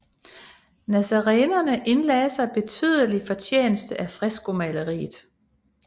Nazarenerne indlagde sig betydelig fortjeneste af freskomaleriet